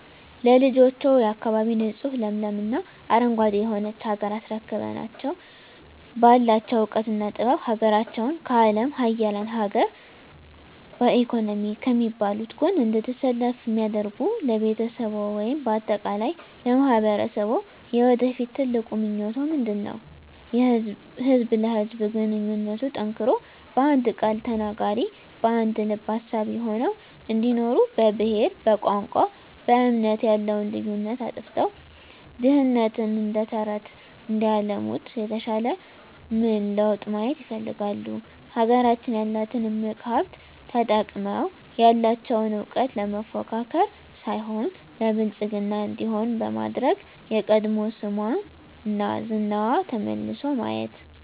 ለልጆችዎ፣ የአካባቢ ንፁህ ለምለም እና አረንጓዴ የሆነች ሀገር አስረክበናቸው ባላቸው እውቀትና ጥበብ ሀገራቸውን ከአለም ሀያላን ሀገር በኢኮኖሚ ከሚባሉት ጎን እንድትሰለፍ እንዲያደርጉ ለቤተሰብዎ ወይም በአጠቃላይ ለማህበረሰብዎ የወደፊት ትልቁ ምኞቶ ምንድነው? ህዝብ ለህዝብ ግንኙነቱ ጠንክሮ በአንድ ቃል ተናጋሪ በአንድ ልብ አሳቢ ሆነው እንዲኖሩ በብሄር በቋንቋ በእምነት ያለውን ልዩነት አጥፍተው ድህነትን እደተረተረት እንዲያለሙት የተሻለ ምን ለውጥ ማየት ይፈልጋሉ? ሀገራችን ያላትን እምቅ ሀብት ተጠቅመው ያለቸውን እውቀት ለመፎካከር ሳይሆን ለብልፅግና እንዲሆን በማድረግ የቀድሞ ስሟና ዝናዋ ተመልሶ ማየት